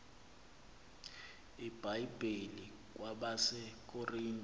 ibhayibhile kwabase korinte